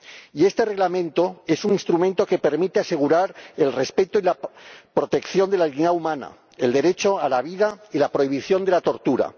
Y este Reglamento es un instrumento que permite asegurar el respeto y la protección de la dignidad humana, el derecho a la vida y la prohibición de la tortura.